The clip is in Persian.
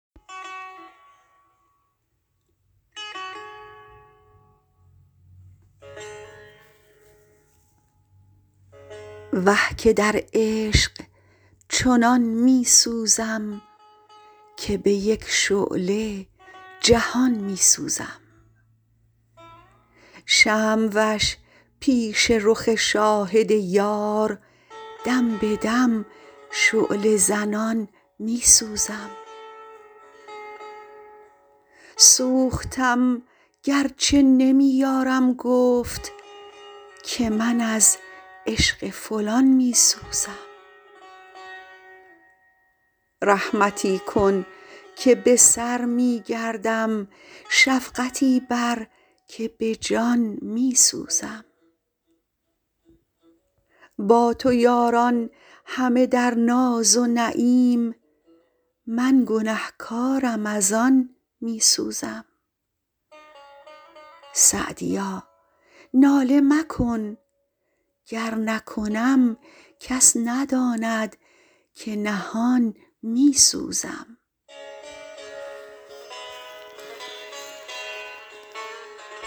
وه که در عشق چنان می سوزم که به یک شعله جهان می سوزم شمع وش پیش رخ شاهد یار دم به دم شعله زنان می سوزم سوختم گر چه نمی یارم گفت که من از عشق فلان می سوزم رحمتی کن که به سر می گردم شفقتی بر که به جان می سوزم با تو یاران همه در ناز و نعیم من گنه کارم از آن می سوزم سعدیا ناله مکن گر نکنم کس نداند که نهان می سوزم